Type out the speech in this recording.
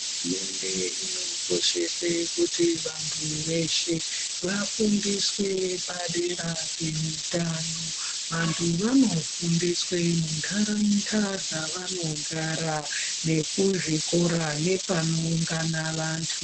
Hurumende inokoshese kuti vanthu veshe vafundiswe padera peutano. Vanthu vanofundiswe muntaraunda dzevanogara, nekuzvikora nepanoungana vanthu.